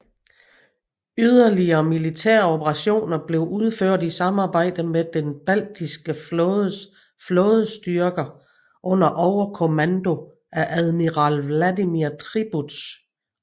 Yderligere militære operationer blev udført i samarbejde med den Baltiske Flådes flådestyrker under overkommando af admiral Vladimir Tribuz